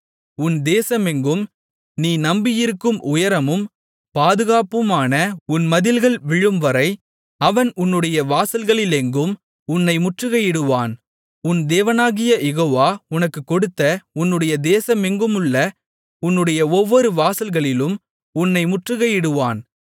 உன் தேசமெங்கும் நீ நம்பியிருக்கும் உயரமும் பாதுகாப்புமான உன் மதில்கள் விழும்வரை அவன் உன்னுடைய வாசல்களிலெங்கும் உன்னை முற்றுகையிடுவான் உன் தேவனாகிய யெகோவா உனக்குக் கொடுத்த உன்னுடைய தேசமெங்குமுள்ள உன்னுடைய ஒவ்வொரு வாசல்களிலும் உன்னை முற்றுகையிடுவான்